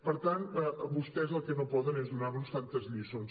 per tant vostès el que no poden és donar·nos tantes lliçons